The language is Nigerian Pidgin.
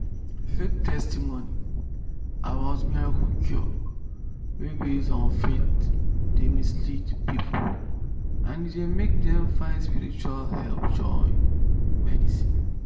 fake testimony about miracle cure wey base on faith dey mislead people and e dey make dem find spiritual help join medicine."